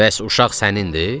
Bəs uşaq sənindir?